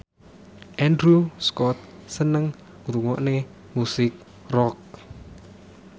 Andrew Scott seneng ngrungokne musik rock